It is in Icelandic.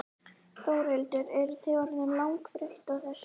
Þórhildur: Eruð þið orðin langþreytt á þessu?